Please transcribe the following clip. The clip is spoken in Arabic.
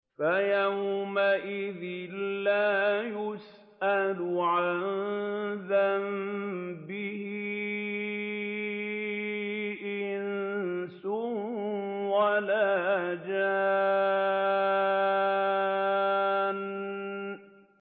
فَيَوْمَئِذٍ لَّا يُسْأَلُ عَن ذَنبِهِ إِنسٌ وَلَا جَانٌّ